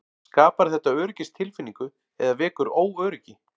Skapar þetta öryggistilfinningu eða vekur óöryggi?